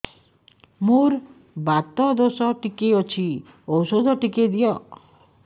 ମୋର୍ ବାତ ଦୋଷ ଟିକେ ଅଛି ଔଷଧ ଟିକେ ଦିଅ